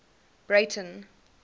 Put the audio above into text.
breyten